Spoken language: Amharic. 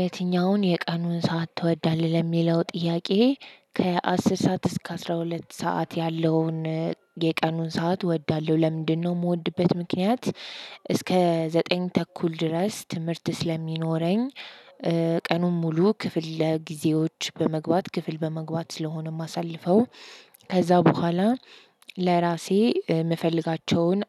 "የትኛውን የቀኑን ሰዓት ትወዳለህ?" ለሚለው ጥያቄ፣ ከ አስር ሰዓት እስከ አስራ ሁለት ሰዓት ያለውን የቀኑን ሰዓት እወዳለሁ። ለምንድነው የምወድበት ምክንያት እስከ ዘጠኝ ተኩል ድረስ ትምህርት ስለሚኖረኝ ቀኑን ሙሉ ክፍለጊዜዎች በመግባት ክፍል በመግባት ስለሆነ የማሳልፈው ከዛ በኋላ ለራሴ የምፈልጋቸውን